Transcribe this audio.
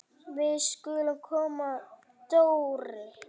Við skulum koma Dóri!